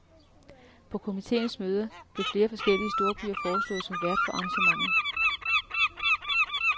På komiteens møder blev flere forskellige storbyer foreslået som vært for arrangementet.